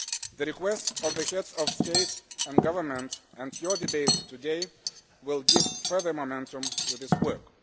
The request of the Heads of State and Government and your debate today will give further momentum to this work.